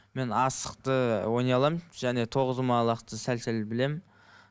мен асықты ойнай аламын және тоғызқұмалақты сәл сәл білемін